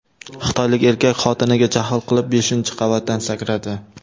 Xitoylik erkak xotiniga jahl qilib beshinchi qavatdan sakradi.